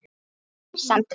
Þín Sandra.